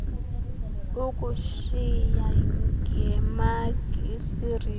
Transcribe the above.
ukutyisa ngemagi isirinji